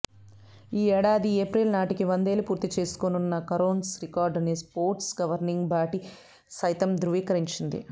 ఈ ఏడాది ఏప్రిల్ నాటికి వందేళ్లు పూర్తి చేసుకోనున్న కరోన్స్ రికార్డుని స్పోర్ట్స్ గవర్నింగ్ బాడీ సైతం ధ్రువీకరించింది